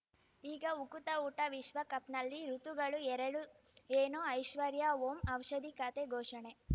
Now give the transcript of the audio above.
ಈಗ ಉಕುತ ಊಟ ವಿಶ್ವಕಪ್‌ನಲ್ಲಿ ಋತುಗಳು ಎರಡು ಏನು ಐಶ್ವರ್ಯಾ ಓಂ ಔಷಧಿ ಖಾತೆ ಘೋಷಣೆ